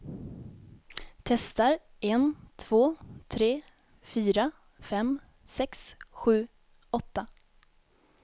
Testar en två tre fyra fem sex sju åtta.